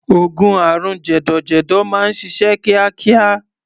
Oògùn àrùn jẹ̀dọ̀jẹ̀dọ̀ máa ń ṣiṣẹ́ kíákíá.